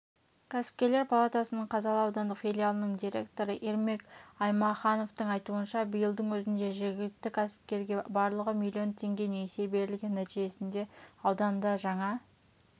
кәсіпкерлер палатасының қазалы аудандық филиалының директоры ермек аймахановтың айтуынша биылдың өзінде жергілікті кәсіпкерге барлығы миллион теңге несие берілген нәтижесінде ауданда жаңа